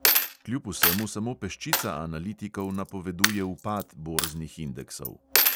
Kljub vsemu samo peščica analitikov napoveduje upad borznih indeksov.